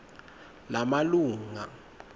lamalunga